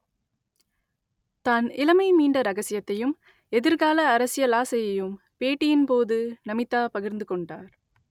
தான் இளமை மீண்ட ரகசியத்தையும் எதிர்கால அரசியல் ஆசையையும் பேட்டியின் போது நமிதா பகிர்ந்து கொண்டார்